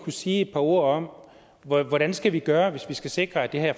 sige et par ord om hvordan vi skal gøre hvis vi skal sikre at det her